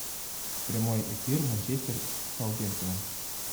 прямой эфир манчестер с саутгемптоном